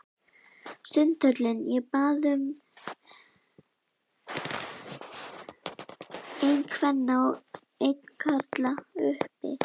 Sundhöllinni og bað um einn kvenna og einn karla, uppi.